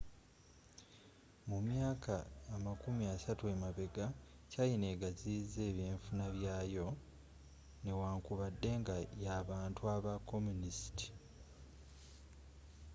mu myaka amakumi asatu emabegga china eggaziyiza ebynfuna byayo newankubadde nga y'abantu aba communist